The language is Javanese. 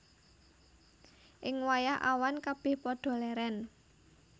Ing wayah awan kabèh padha lèrèn